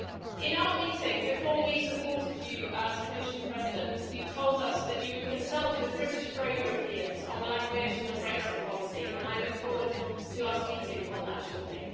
In our meeting, before we supported you as Commission President, you told us that you would consult with British pro-Europeans on language and Brexit policy, and I look forward to us meeting on that shortly.